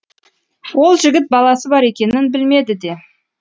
ол жігіт баласы бар екенін білмеді де